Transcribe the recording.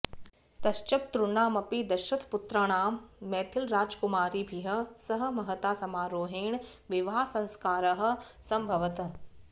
ततश्चतुर्णामपि दशरथपुत्राणां मैथिलराजकुमारीभिः सह महता समारोहेण विवाहसंस्कारः समभवत्